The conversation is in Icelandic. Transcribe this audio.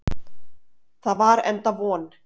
Það var enda von.